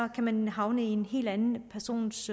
kan man havne i en helt anden persons